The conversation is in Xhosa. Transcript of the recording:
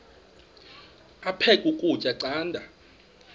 aphek ukutya canda